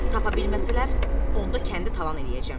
Tapa bilməsələr, onda kəndi talan eləyəcəm.